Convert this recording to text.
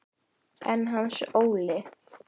En Hans Óli?